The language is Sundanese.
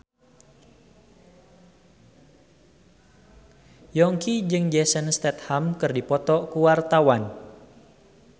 Yongki jeung Jason Statham keur dipoto ku wartawan